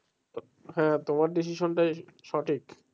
হ্যাঁ তোমার decision টাই সঠিক।